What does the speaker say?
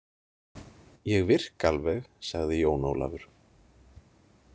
Ég virka alveg, sagði Jón Ólafur